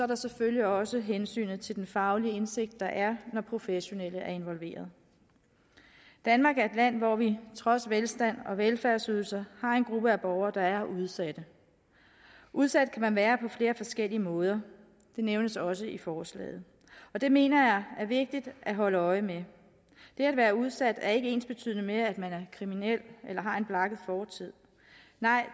der selvfølgelig også hensynet til den faglige indsigt der er når professionelle er involveret danmark er et land hvor vi trods velstand og velfærdsydelser har en gruppe borgere der er udsatte udsat kan man være på flere forskellige måder det nævnes også i forslaget og det mener jeg er vigtigt at holde øje med det at være udsat er ikke ensbetydende med at man er kriminel eller har en blakket fortid